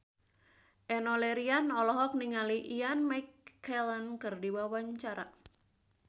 Enno Lerian olohok ningali Ian McKellen keur diwawancara